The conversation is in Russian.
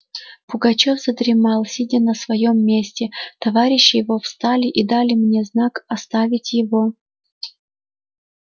пугачёв задремал сидя на своём месте товарищи его встали и дали мне знак оставить его